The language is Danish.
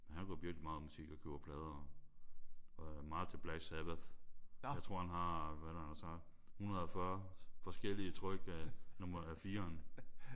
Men han går virkelig meget op i musik og køber plader og og er meget til Black Sabbath. Jeg tror han har hvad er det han har sagt 140 forskellige tryk af nummer fireren